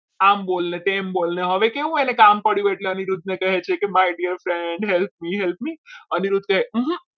આમ બોલને તેમ બોલને હવે એને કેવું કામ પડ્યું એટલે અનિરુદ્ધને કહે છે કે my dear friend help me help me me Aniruddha કહે.